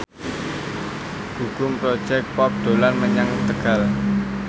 Gugum Project Pop dolan menyang Tegal